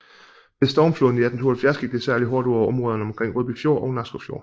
Ved stormfloden i 1872 gik det særligt hårdt ud over områderne omkring Rødby Fjord og Nakskov Fjord